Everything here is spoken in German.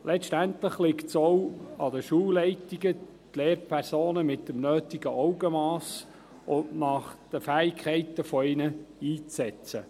Letztendlich liegt es auch an den Schulleitungen, die Lehrpersonen mit dem nötigen Augenmass und nach ihren Fähigkeiten einzusetzen.